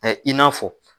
I n'a fɔ